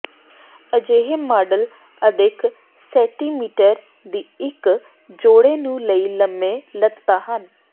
ਅਜਿਹੇ ਮਾਡਲ ਅਦਿੱਖ ਸੈਟੀਮੀਟਰ ਦੀ ਇੱਕ ਜੋੜੇ ਨੂੰ ਲਈ ਲੰਮੇ ਲਤ੍ਤਾ ਹਨ